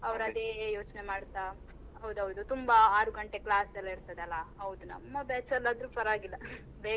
ಅವ್ರು ಅದೆ ಯೋಚ್ನೆ ಮಾಡ್ತಾ. ಹೌದೌದು ತುಂಬಾ ಆರು ಗಂಟೆ class ಎಲ್ಲ ಇರ್ತದಲ್ಲ. ಹೌದು ನಮ್ಮ batch ಅಲ್ ಆದ್ರು ಪರವಾಗಿಲ್ಲ ಬೇಗ.